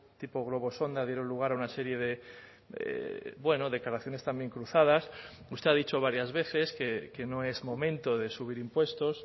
tipo globo sonda dieron lugar a una serie de bueno declaraciones también cruzadas usted ha dicho varias veces que no es momento de subir impuestos